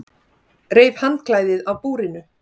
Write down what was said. Reif handklæðið af búrinu.